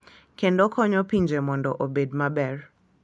Kendo konyo pinje mondo obed maber.